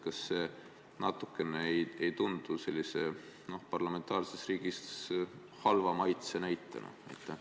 Kas see ei tundu parlamentaarses riigis halva maitse näitena?